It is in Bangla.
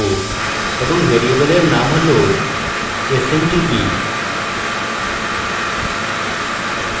এবং ভ্যরিয়েবলের name হল smtp